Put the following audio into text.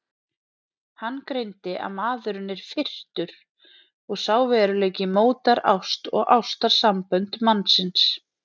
Hann greindi að maðurinn er firrtur og sá veruleiki mótar ást og ástarsambönd mannsins.